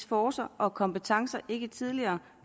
forcer og kompetencer ikke tidligere